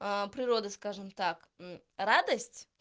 природа скажем так радость